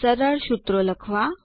સરળ સૂત્ર લખવા